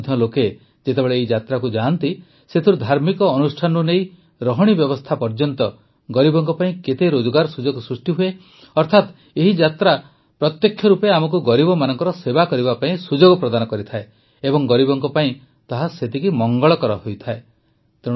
ଆଜି ମଧ୍ୟ ଲୋକେ ଯେତେବେଳେ ଏହି ଯାତ୍ରାକୁ ଯାଆନ୍ତି ସେଥିରୁ ଧାର୍ମିକ ଅନୁଷ୍ଠାନରୁ ନେଇ ରହଣି ବ୍ୟବସ୍ଥା ପର୍ଯ୍ୟନ୍ତ ଗରିବଙ୍କ ପାଇଁ କେତେ ରୋଜଗାର ସୁଯୋଗ ସୃଷ୍ଟି ହୁଏ ଅର୍ଥାତ ଏହି ଯାତ୍ରା ପ୍ରତ୍ୟକ୍ଷ ରୂପେ ଆମକୁ ଗରିବମାନଙ୍କର ସେବା କରିବା ପାଇଁ ସୁଯୋଗ ପ୍ରଦାନ କରିଥାଏ ଏବଂ ଗରିବଙ୍କ ପାଇଁ ତାହା ସେତିକି ମଙ୍ଗଳକର ହୋଇଥାଏ